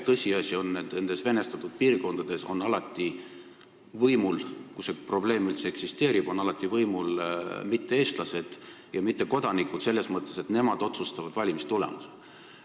Tõsiasi on, et nendes venestatud piirkondades, kus see probleem üldse eksisteerib, on alati võimul mitte-eestlased ja mittekodanikud – selles mõttes, et nemad otsustavad valimistulemuse.